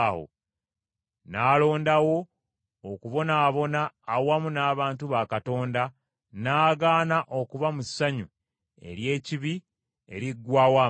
n’alondawo okubonaabonera awamu n’abantu ba Katonda n’agaana okuba mu ssanyu ery’ekibi eriggwaawo amangu.